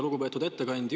Lugupeetud ettekandja!